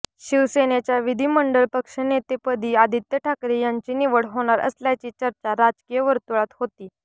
शिवसेनेच्या विधिमंडळ पक्षनेतेपदी आदित्य ठाकरे यांची निवड होणार असल्याची चर्चा राजकीय वर्तुळात होती